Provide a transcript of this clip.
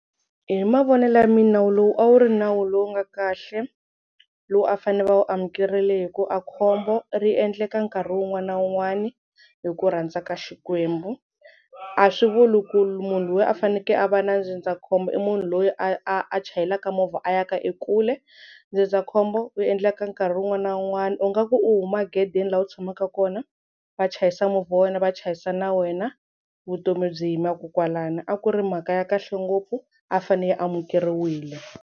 Hi mavonelo ya mina nawu lowu a wu ri nawu lowu nga kahle lowu a fanele va wu amukerile hi ku a khombo ri endleka nkarhi wun'wani na wun'wani hi ku rhandza ka Xikwembu a swi vuli ku munhu lweyi a fanekele a va na ndzindzakhombo i munhu loyi a a a chayelaka movha a ya ka ekule, ndzindzakhombo wu endleka nkarhi wun'wana na wun'wana u nga ku u huma gedeni laha u tshamaka kona va chayisa movha wa wena va chayisa na wena vutomi byi yima kokwalano a ku ri mhaka ya kahle ngopfu a fanele a amukeriwile.